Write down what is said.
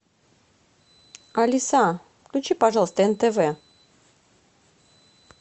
алиса включи пожалуйста нтв